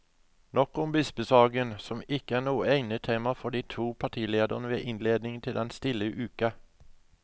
Nok om bispesaken, som ikke er noe egnet tema for de to partilederne ved innledningen den stille uke.